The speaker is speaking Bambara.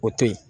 O to yen